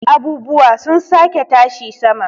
abubuwa sun sake tashi sama